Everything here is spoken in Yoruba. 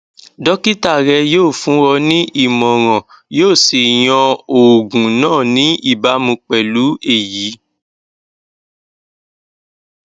dókítà rẹ yóò fún ọ ní ìmọràn yóò sì yan oògùn náà ní ìbámu pẹlú èyí